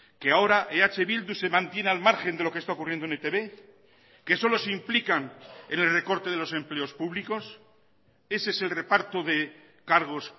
que ahora eh bildu se mantiene al margen de lo que está ocurriendo en etb que solo se implican en el recorte de los empleos públicos ese es el reparto de cargos